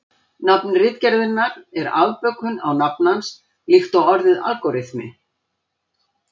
Nafn ritgerðarinnar er afbökun á nafni hans líkt og orðið algóritmi.